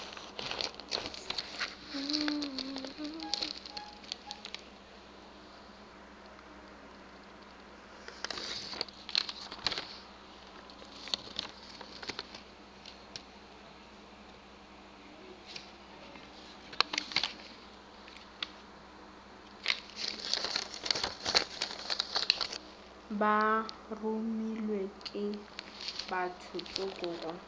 be baromilwe ke bathotsoko go